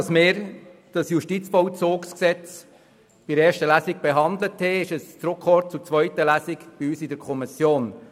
der SiK. Nachdem wir dieses Gesetz in der ersten Lesung in der Kommission behandelten, kam es im Hinblick auf die zweite Lesung zurück in die Kommission.